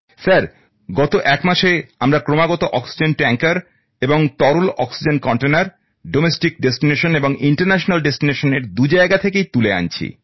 sir গত এক মাসে আমরা ক্রমাগত অক্সিজেন ট্যাংকার এবং তরল অক্সিজেন কন্টেনার দেশের এবং বিদেশের গন্তব্য౼ দু জায়গা থেকে তুলে আনছি